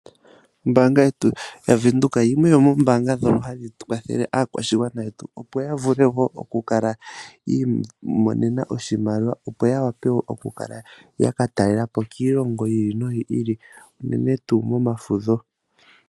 Ombaanga yetu ya Venduka yimwe yomoombanga ndhono hadhi kwathele aakwashigwana yetu opo ya vulu wo okukala ya imonena oshimaliwa. Opo ya wape wo okukala ya ka talelapo kiilongo yi ili noyi ili uunene tuu momafudho.